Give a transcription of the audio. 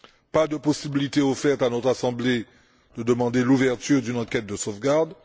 pas de possibilité offerte à notre Assemblée de demander l'ouverture d'une enquête de sauvegarde